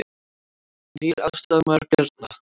Nýr aðstoðarmaður Bjarna